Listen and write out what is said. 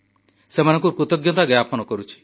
ସେମାନଙ୍କୁ କୃତଜ୍ଞତା ଜ୍ଞାପନ କରୁଛି